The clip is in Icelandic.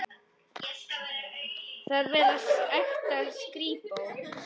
Þar var ekta skrípó.